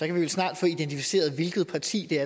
vi vel snart få identificeret hvilket parti